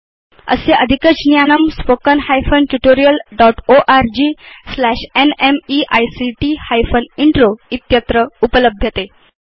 अस्य अधिकज्ञानम् spoken hyphen tutorial dotओर्ग slash न्मेइक्ट हाइफेन इन्त्रो इत्यत्र उपलभ्यते